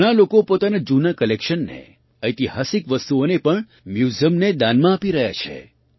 ઘણા લોકો પોતાના જૂના કલેક્શનને ઐતિહાસિક વસ્તુઓને પણ મ્યૂઝિયમને દાનમાં આપી રહ્યા છે